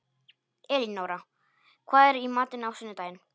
Elinóra, hvað er í matinn á sunnudaginn?